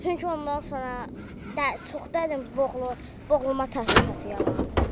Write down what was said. Çünki ondan sonra çox dərin boğulma, boğulma təhlükəsi yaranır.